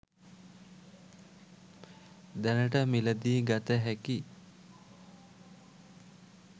දැනට මිලදී ගත හැකි